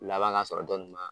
Laban k'a sɔrɔ dɔnin ma